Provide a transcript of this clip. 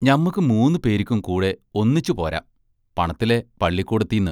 ഞമ്മക്കു മൂന്നു പേരിക്കും കൂടെ ഒന്നിച്ചുപോരാം, പണത്തിലെ പള്ളിക്കൂടത്തീന്ന്.